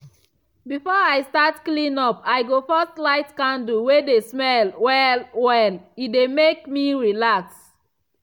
before i start clean up i go first light candle wey dey smell well-well e dey mek me relax.